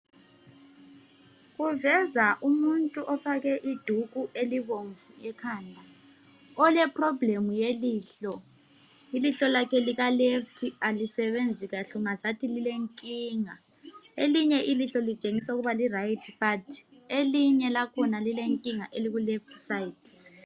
Uveza umuntu ofake induku elibomvu ekhanda oleproblem yelihlo. Ilihlo lakhe likaleft alisebenzi kahle ungazathi lilenkinga. Elinye ilihlo litshengisa ukuba liright but elinye lakhona lilenkinga elikuleft side.